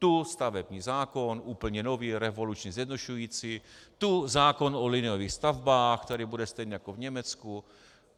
Tu stavební zákon, úplně nový, revoluční, zjednodušující, tu zákon o liniových stavbách, který bude stejný jako v Německu.